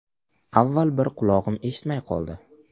Avval bir qulog‘im eshitmay qoldi.